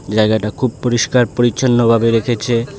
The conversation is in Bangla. জায়গাটা খুব পরিষ্কার পরিচ্ছন্ন ভাবে রেখেছে।